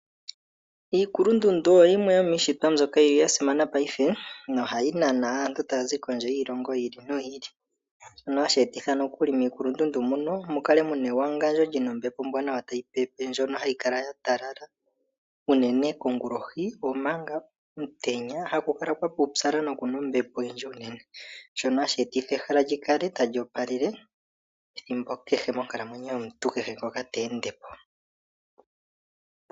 Iikulundundu oyo yimwe yomiishitwa mbyoka yasimana paife nohayi nana aantu taya zi kondje yiishilongo yiili noyiili shono hashi etitha nokuli miikulundundu munomukale muna ewangandjo lyina ombempo ombwanawa tayipepe ndjono hayi kala yatala unene kongulohi omanga omutenya hakukala kwaputsala nokuna ombepo oyindji unene shono hashi etitha ehala likale tali opalele ethimbo kehe monkalamwenyo yomuntu kehe ngoka teende po.